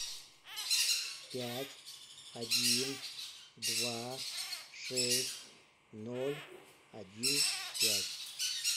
пять один два шесть ноль один пять